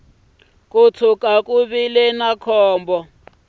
ko tshuka ku vile ni